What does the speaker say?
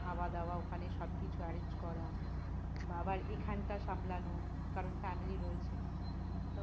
খাওয়া দাওয়া ওখানে সব কিছু arrange করা আবার এখানটা সামলানো কারণ family রয়েছে তো